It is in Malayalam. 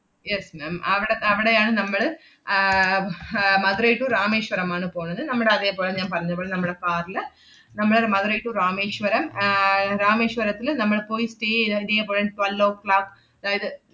yes ma'am അവടെ അവടെയാണ് നമ്മള് ആഹ് അഹ് മധുരൈ to രാമേശ്വരം ആണ് പോണത്. നമ്മടതേ പോലെ ഞാൻ പറഞ്ഞ പോലെ നമ്മടെ car ല്ന മ്മള് മധുരൈ to രാമേശ്വരം ആഹ് ഏർ രാമേശ്വരത്തില് നമ്മള് പോയി stay ഇതേ~ ഇതേ പോലെ twelve oh clock അഹ് ~ത്,